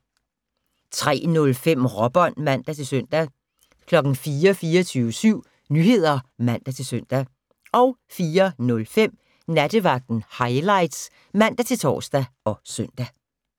03:05: Råbånd (man-søn) 04:00: 24syv Nyheder (man-søn) 04:05: Nattevagten Highlights (man-tor og søn)